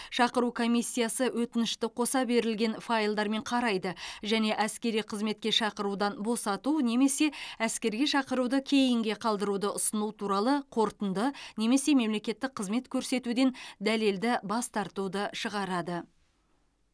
шақыру комиссиясы өтінішті қоса берілген файлдармен қарайды және әскери қызметке шақырудан босату немесе әскерге шақыруды кейінге қалдыруды ұсыну туралы қорытынды немесе мемлекеттік қызмет көрсетуден дәлелді бас тартуды шығарады